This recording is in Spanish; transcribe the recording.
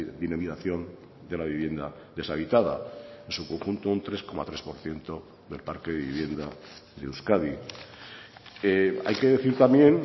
dinamización de la vivienda deshabitada en su conjunto un tres coma tres por ciento del parque de vivienda de euskadi hay que decir también